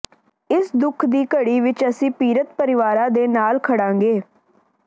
ਇਸ ਦੁੱਖ ਦੀ ਘੜੀ ਵਿਚ ਅਸੀਂ ਪੀੜਤ ਪਰਿਵਾਰਾਂ ਦੇ ਨਾਲ ਖੜਾਂਗੇ